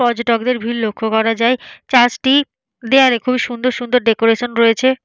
পর্যটকদের ভিড় লক্ষ্য করা যায়। চার্চটির দেয়ালে খুবই সুন্দর সুন্দর ডেকোরেশন রয়েছে।